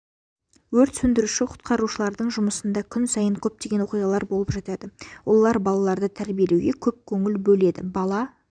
өрт сөндіруші-құтқарушылардың жұмысында күн сайын көптеген оқиғалар болып жатады олар балаларды тәрбиелеуге көп көңіл бөледі бала